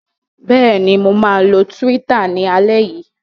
Bẹ́ẹ̀ ni, mo máa lo Twitter ní alẹ́ yìí.